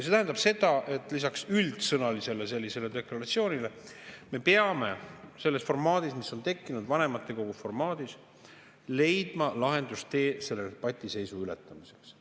See tähendab seda, et me peame lisaks üldsõnalisele deklaratsioonile leidma selles tekkinud vanematekogu formaadis lahendustee patiseisu ületamiseks.